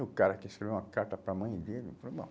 E o cara que escreveu uma carta para a mãe dele, eu falei, bom...